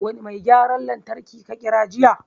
Wani mai gyaran lantraki ka kira jiya?